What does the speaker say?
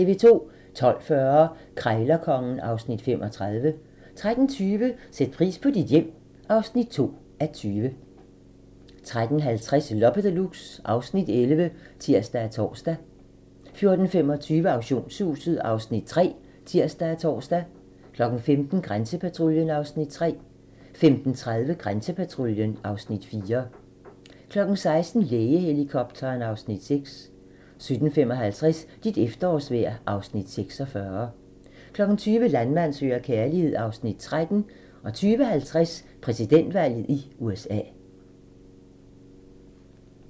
12:40: Krejlerkongen (Afs. 35) 13:20: Sæt pris på dit hjem (2:20) 13:50: Loppe Deluxe (Afs. 11)(tir og tor) 14:25: Auktionshuset (Afs. 3)(tir og tor) 15:00: Grænsepatruljen (Afs. 3) 15:30: Grænsepatruljen (Afs. 4) 16:00: Lægehelikopteren (Afs. 6) 17:55: Dit efterårsvejr (Afs. 46) 20:00: Landmand søger kærlighed (Afs. 13) 20:50: Præsidentvalget i USA